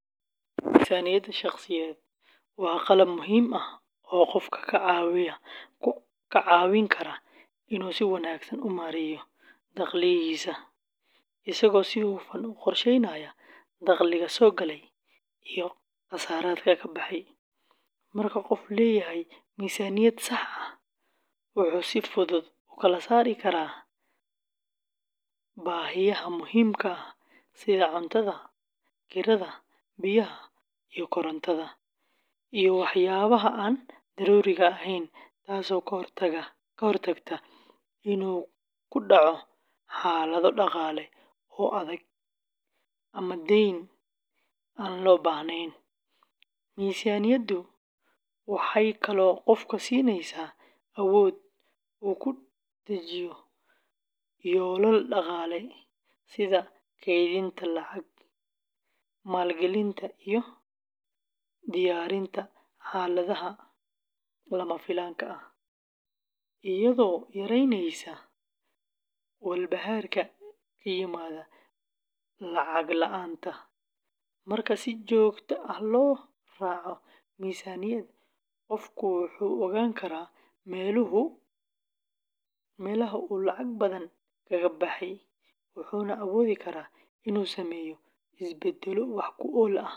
Miisaaniyadda shakhsiyeed waa qalab muhiim ah oo qofka ka caawin kara inuu si wanaagsan u maareeyo dhaqaalihiisa, isagoo si hufan u qorsheynaya dakhliga soo gala iyo kharashaadka ka baxaya. Marka qofku leeyahay miisaaniyad sax ah, wuxuu si fudud u kala saari karaa baahiyaha muhiimka ah sida cuntada, kirada, biyaha iyo korontada, iyo waxyaabaha aan daruuriga ahayn, taasoo ka hortagta inuu ku dhaco xaalado dhaqaale oo adag ama deyn aan loo baahnayn. Miisaaniyaddu waxay kaloo qofka siinaysaa awood uu ku dejiyo yoolal dhaqaale sida kaydinta lacag, maalgelinta, iyo diyaarinta xaaladaha lama filaanka ah, iyadoo yareyneysa walbahaarka ka yimaada lacagta la’aanta. Marka si joogto ah loo raaco miisaaniyad, qofku wuu ogaan karaa meelaha uu lacag badan kaga baxay, wuxuuna awoodi karaa inuu sameeyo isbeddello wax ku ool ah.